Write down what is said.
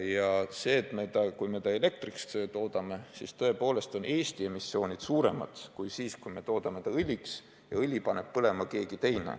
Jah, tõepoolest, kui me sellest elektrit toodame, on Eesti emissioon suurem kui siis, kui toodame sellest õli ja selle õli paneb põlema keegi teine.